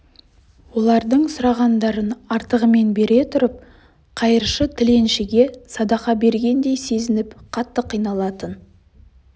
олардың сұрағандарын артығымен бере тұрып қайыршы-тіленшіге садақа бергендей сезініп қатты қиналатын